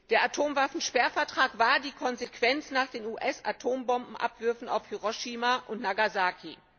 Der Atomwaffensperrvertrag war die Konsequenz nach den US Atombombenabwürfen auf Hiroshima und Nagasaki.